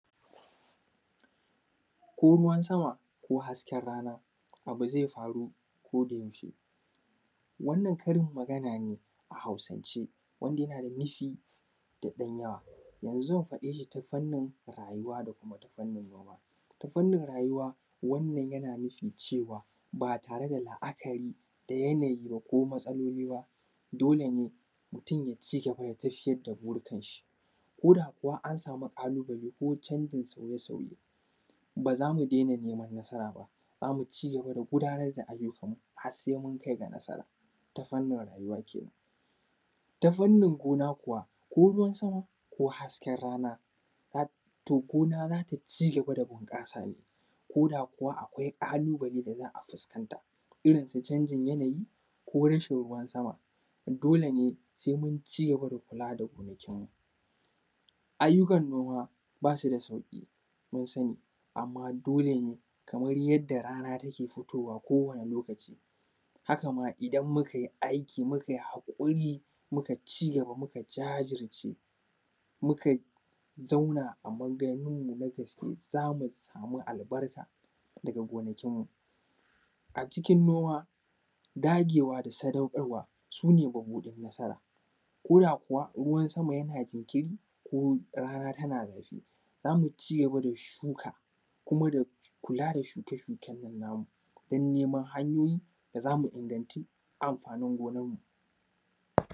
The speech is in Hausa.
Ko ruwan sama ko hasken rana, abu ze faru kodayaushe. Wannan karinmagana ne a Hausance wanda yana da nufi da ɗan yawa. To yanzu zan faɗe shi ta fannin rayuwa da kuma ta fannin gona. Ta fannin rayuwa, wannan yana nufin cewa, ba tare da la’akari da yanayi ba ko matsaloli ba, dole ne mutun ya cije gurin tafiyar da burikanshi ko da kuwa an sami ƙalubale ko canjin sauye-sauye, ba za mu dena neman nasara ba. Za mu ci gaba da gudanar da ayyukanmu has se mun kai ga nasara ta fannin rayuwa kenan. Ta fannin gona kuwa, ko ruwan sama ko hasken rana hat; to gona za ta ci gaba da bunƙasa ko da kuwa akwai ƙalubale da za a fuskanta. Irin su canjin yanayi ko rashin ruwan sama, dole ne se mun ci gaba da kula da gonakinmu. Ayyukan noma, ba su da sauƙi mun sani, amma dole ne kamar yadda rana take fitowa kowane lokaci, haka ma idan mukai aiki mukai haƙuri, muka ci gaba muka jajirce, muka zauna a magarinmu mu na gaske, za mu samu albarka daga gonakinmu. A cikin noma, dagewa da sadauƙarwa, su ne mabuɗin nasara ko da kuwa ruwan sama yana jinkiri ko rana tana zafi, za mu ci gaba da shuka kuma da kula da shuke-shuken nan namu dan neman hanyoyi da za mu inganti amfanin gonanmu.